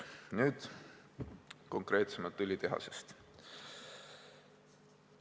Nüüd, konkreetsemalt õlitehasest.